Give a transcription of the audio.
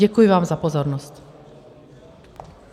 Děkuji vám za pozornost.